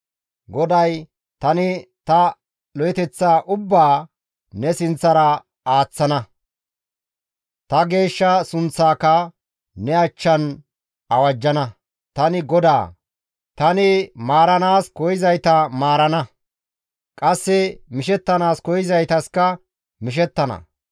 GODAY, «Tani ta lo7eteththaa ubbaa ne sinththara aaththana; ta geeshsha sunththaaka ne achchan awajjana. Tani GODAA; tani maaranaas koyzayta maarana; qasse mishettanaas koyzaytaska mishettana.